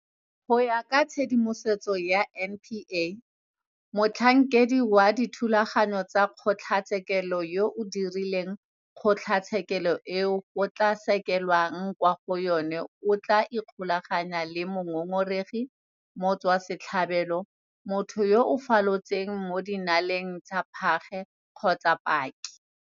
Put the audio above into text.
Go ya ka tshedimosetso ya NPA, motlhankedi wa dithulaganyo tsa kgotlatshekelo yo a direlang kgotlatshekelo eo go tla sekelwang kwa go yona o tla ikgolaganya le mongongoregi, motswasetlhabelo, motho yo a falotseng mo dinaleng tsa phage kgotsa paki.